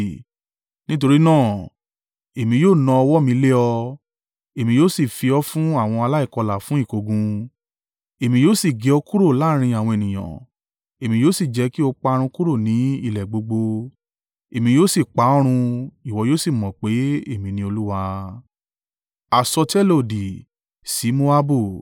nítorí náà, èmi yóò na ọwọ́ mi lé ọ, èmi yóò sì fi ọ fún àwọn aláìkọlà fún ìkógun. Èmi yóò sì gé ọ kúrò láàrín àwọn ènìyàn, èmi yóò sì jẹ́ kí o parun kúrò ni ilẹ̀ gbogbo. Èmi yóò sì pa ọ́ run, ìwọ yóò sì mọ̀ pé èmi ni Olúwa.’ ”